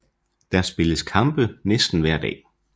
Der spilles kampe næsten hver dag